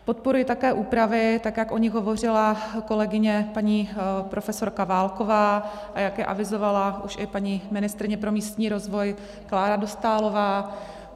Podporuji také úpravy, tak jak o nich hovořila kolegyně paní profesorka Válková a jak je avizovala už i paní ministryně pro místní rozvoj Klára Dostálová.